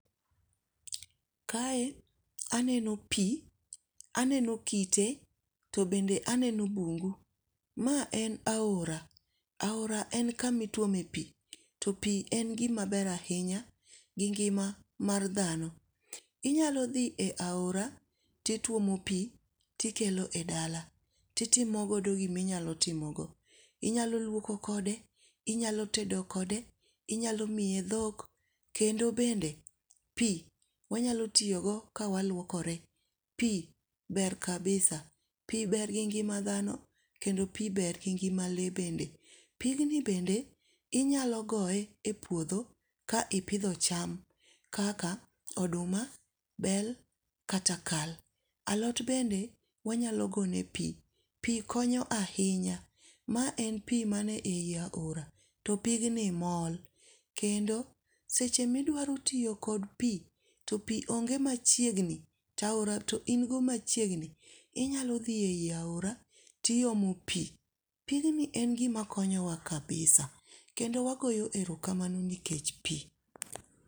Kae aneno pi, aneno kite to bende aneno bungu. Ma en aora, to aora en kama ituome pi to pi en gima ber ahinya gi ngima mar dhano. Inyalo dhi e aora to ituomo pi to ikelo e dala to itimo godo gima inyalo timogo. Inyalo luoko kode, inyalo tedo kode, inyalo miye dhok, kendo bende pi wanyalo tiyo go kawaluokore, pi ber kabisa5cs], pi ber gi ngima dhano kendo pi ber gi ngima lee bende. Pigni bende inyalo goye e puodho ka ipidho cham kaka oduma, bel, kata kal. Alot bende wanyalo gone pi, pi konyo ahinya ma en pi manie aora to pigni mol, kendo seche ma idwaro tiyo kod pi to pi onge machiegni to aora to in go machiegni, inyalo dhi eiaora o iomo pi. Pigni en gima konyowa kabisa kendo wagoyo erokamano nikech pi.